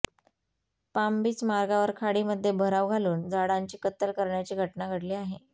Palm Beach मार्गावर खाडीमध्ये भराव घालून झाडांची कत्तल करण्याची घटना घडली आहे